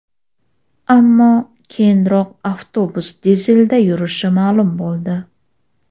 ammo keyinroq avtobus dizelda yurishi ma’lum bo‘ldi.